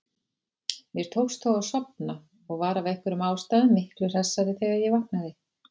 Mér tókst þó að sofna og var af einhverjum ástæðum miklu hressari þegar ég vaknaði.